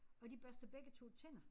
Og de børste begge 2 tænder